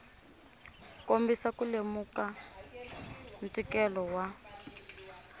kombisa ku lemuka ntikelo wa